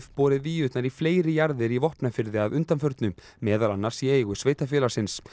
borið víurnar í fleiri jarðir í Vopnafirði að undanförnu meðal annars í eigu sveitarfélagsins